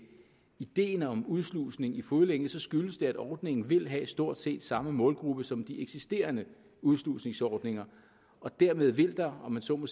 ideen om udslusning i fodlænke skyldes det at ordningen vil have stort set samme målgruppe som de eksisterende udslusningsordninger og dermed vil der om jeg så må